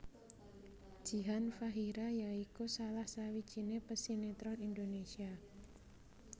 Jihan Fahira ya iku salah sawijiné pesinetron Indonésia